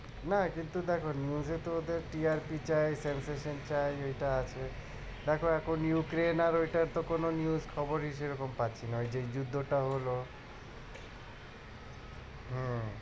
নাই কিন্তু দেখো news এ তো ওদের TRP চাই চাই ওইটা আছে। তারপর এখন Ukrain আর ওইটার তো কোনো news খবরই সেরকম পাচ্ছি না ওই যে যুদ্ধটা হলো হম